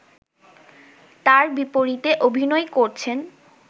তার বিপরীতে অভিনয় করছেন